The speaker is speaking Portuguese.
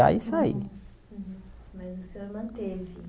e sair Mas o senhor manteve